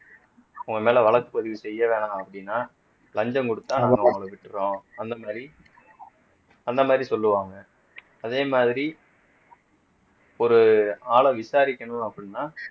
உங்க மேல வழக்கு பதிவு செய்ய வேணாம் அப்படின்னா லஞ்சம் குடுத்தா நாங்க அவங்களை விட்டுடுறோம் அந்த மாதிரி அந்த மாதிரி சொல்லுவாங்க அதே மாதிரி ஒரு ஆளை விசாரிக்கணும் அப்படின்னா